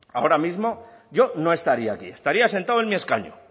ahora mismo yo no estaría aquí estaría sentado en mi escaño